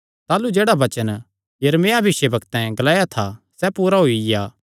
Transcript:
ताह़लू जेह्ड़ा वचन यिर्मयाह भविष्यवक्तैं ग्लाया था सैह़ पूरा होईया